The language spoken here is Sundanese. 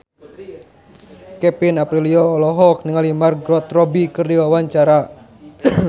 Kevin Aprilio olohok ningali Margot Robbie keur diwawancara